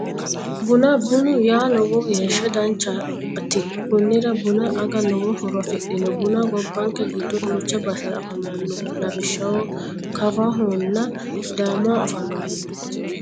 Buna bunu yaa lowo geeshshi danchaati konnira buna aga lowo horo afidhino bunu gobankke giddo duucha basera afamano lawishahaho kafahona sidaamaho afamano